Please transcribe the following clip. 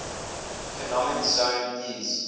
economic zone eez